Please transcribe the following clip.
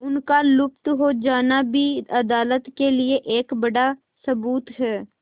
उनका लुप्त हो जाना भी अदालत के लिए एक बड़ा सबूत है